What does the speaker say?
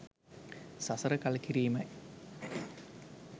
සසර කල කිරීමයි